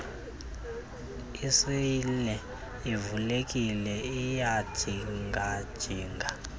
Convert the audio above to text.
iseyile ivulekile iyajingajinga